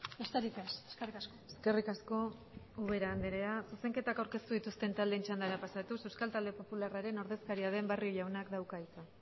besterik ez eskerrik asko eskerrik asko ubera andrea zuzenketak aurkeztu dituzten taldeen txandara pasatuz euskal talde popularraren ordezkaria den barrio jaunak dauka hitza